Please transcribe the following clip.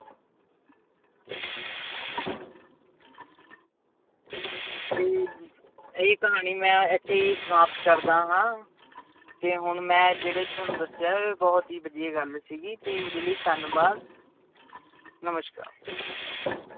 ਤੇ ਇਹ ਕਹਾਣੀ ਮੈਂ ਇੱਥੇ ਹੀ ਸਮਾਪਤ ਕਰਦਾ ਹਾਂ ਤੇ ਹੁਣ ਮੈਂ ਜਿਹੜੇ ਤੁਹਾਨੂੰ ਦੱਸਿਆ ਬਹੁਤ ਹੀ ਵਧੀਆ ਗੱਲ ਦੱਸੀ ਸੀ ਤੇ ਇਹਦੇ ਲਈ ਧੰਨਵਾਦ ਨਮਸ਼ਕਾਰ।